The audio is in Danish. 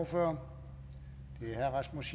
for